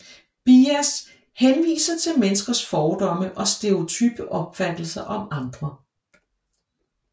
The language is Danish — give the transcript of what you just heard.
Bias henviser til menneskers fordomme og stereotype opfattelser om andre